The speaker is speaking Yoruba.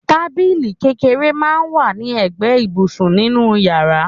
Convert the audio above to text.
Tábìlì kékeré máa ń wà ní ẹgbẹ́ ibùsùn nínú yàrá